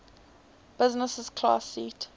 business class seat